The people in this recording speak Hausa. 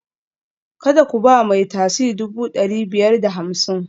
Kada ku ba mai tasi dubu ɗari biyar da hamsin